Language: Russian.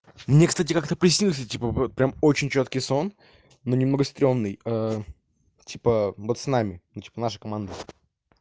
мне кстати как-то приснился типа прям очень чёткий сон но немного стрёмный типа пацанами ну типа наша команда